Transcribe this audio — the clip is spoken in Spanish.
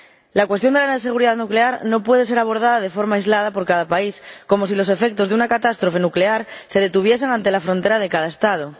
La cuestión de la seguridad nuclear no puede ser abordada de forma aislada por cada país, como si los efectos de una catástrofe nuclear se detuviesen ante la frontera de cada Estado.